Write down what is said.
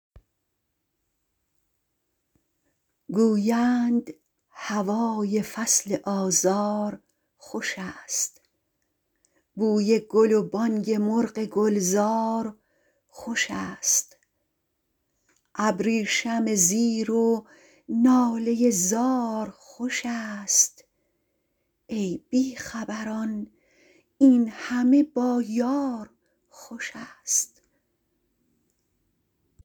گویند هوای فصل آزار خوش ست بوی گل و بانگ مرغ گلزار خوش ست ابریشم زیر و ناله زار خوشست ای بی خبران این همه با یار خوش ست